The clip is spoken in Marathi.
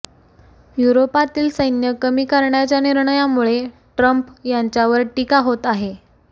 युरोपातील सैन्य कमी करण्याच्या निर्णयामुळे ट्रंप यांच्यावर टीका होत आहे